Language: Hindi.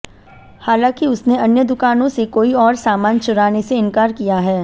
हालांकि उसने अन्य दुकानों से कोई और सामान चुराने से इनकार किया है